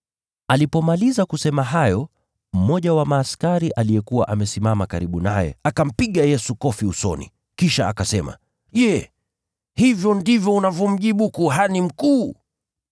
Alipomaliza kusema hayo, mmoja wa askari aliyekuwa amesimama karibu naye, akampiga Yesu kofi usoni, kisha akasema, “Je, hivyo ndivyo unavyomjibu kuhani mkuu?”